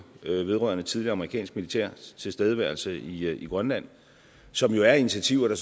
vedrørende tidligere amerikansk militærtilstedeværelse i grønland som jo er initiativer der